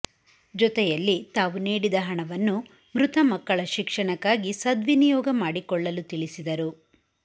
ಜೊತೆಯಲ್ಲಿ ತಾವು ನೀಡಿದ ಹಣವನ್ನು ಮೃತ ಮಕ್ಕಳ ಶಿಕ್ಷಣಕ್ಕಾಗಿ ಸದ್ವನಿಯೋಗ ಮಾಡಿಕೊಳ್ಳಲು ತಿಳಿಸಿದರು